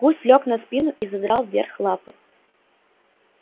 гусь лёг на спину и задрал вверх лапы